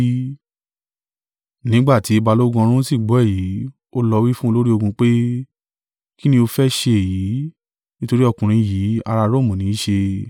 Nígbà tí balógun ọ̀rún sì gbọ́ èyí, ó lọ wí fún olórí ogun pé, “Kín ni ó fẹ́ ṣe yìí: nítorí ọkùnrin yìí ará Romu ní i ṣe?”